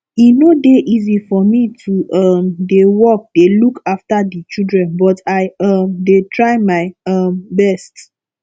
e no dey easy for me to um dey work dey look after the children but i um dey try my um best